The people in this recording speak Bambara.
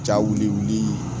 Ja wuli wulili